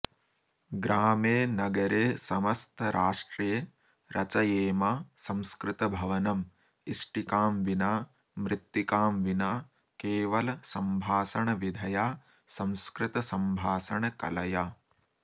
ग्रामे नगरे समस्तराष्ट्रे रचयेम संस्कृतभवनं इष्टिकां विना मृत्तिकां विना केवलसम्भाषणविधया संस्कृतसम्भाषणकलया